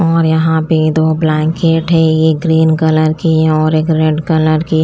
और यहां भी दो ब्लैंकेट है एक ग्रीन कलर की और एक रेड कलर की।